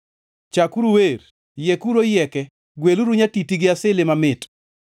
Chakuru wer, yiekuru oyieke; gweluru nyatiti gi asili mamit.